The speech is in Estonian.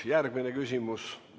Järgmine küsimus.